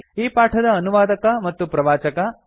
ಈ ಪಾಠದ ಅನುವಾದಕ ಮತ್ತು ಪ್ರವಾಚಕ ಐ